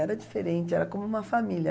Era diferente, era como uma família.